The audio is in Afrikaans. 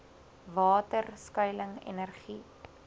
water skuiling energie